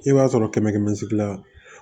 I b'a sɔrɔ kɛmɛ kɛmɛ sigi la